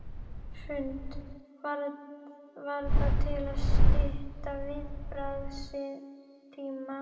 Hrund: Var það til að stytta viðbragðstíma?